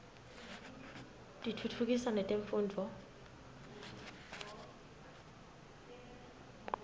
tiftutfukisa netemfundvo